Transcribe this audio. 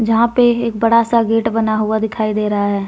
यहां पे एक बड़ा सा गेट बना हुआ दिखाई दे रहा है।